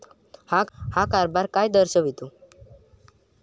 हा कारभार काय दर्शवितो?